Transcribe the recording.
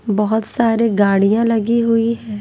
बहुत सारे गाड़ियां लगी हुई है।